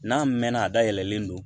N'a mɛnna a da yɛlɛlen don